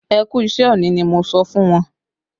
Ẹ kú iṣẹ òní ni mo sọ fún wọn